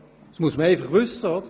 Das muss man wissen.